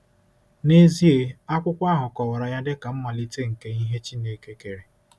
N’ezie, akwụkwọ ahụ kọwara ya dị ka “mmalite nke ihe Chineke kere.”